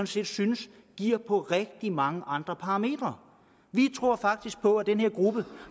set synes giver på rigtig mange andre parametre vi tror faktisk på at den her gruppe